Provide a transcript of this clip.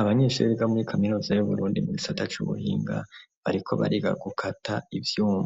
Abanyeshure biga muri Kaminuza y'uburundi mu gisata cy'ubuhinga bariko bariga gukata ibyuma